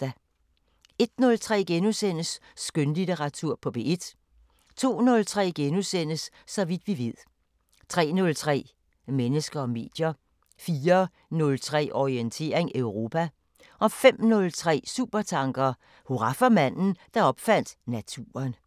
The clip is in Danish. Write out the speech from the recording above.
01:03: Skønlitteratur på P1 * 02:03: Så vidt vi ved * 03:03: Mennesker og medier 04:03: Orientering Europa 05:03: Supertanker: Hurra for manden, der opfandt naturen